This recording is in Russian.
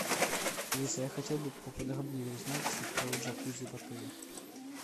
алиса я хотел бы поподробнее узнать про джакузи в отеле